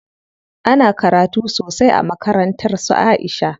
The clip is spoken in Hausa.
Ana karatu sosai a makarantar su Aisha.